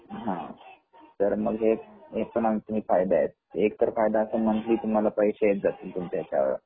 तर मग एक हे पण आणखी फायदे आहेत एक तर फायदा तुम्हाला मंथली पैसे येत जातील तुमच्या याच्यावर